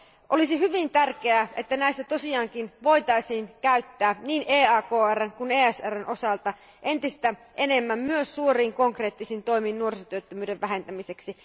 Olisi hyvin tärkeää, että näitä tosiaankin voitaisiin käyttää niin EAKRn kuin ESRn osalta entistä enemmän myös suuriin konkreettisiin toimiin nuorisotyöttömyyden vähentämiseksi.